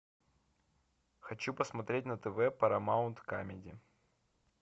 хочу посмотреть на тв парамаунт камеди